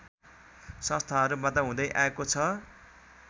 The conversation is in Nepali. संस्थाहरूबाट हुँदै आएको छ